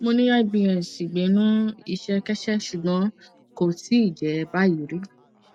mo ní ibs ìgbẹnu ìṣẹkẹsẹ ṣùgbọn kò tíì jẹ báyìí rí